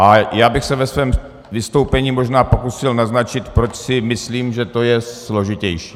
A já bych se ve svém vystoupení možná pokusil naznačit, proč si myslím, že to je složitější.